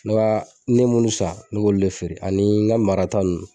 Ne b'a n me munnu san ne b'olu le feere ani n ga marata nunnu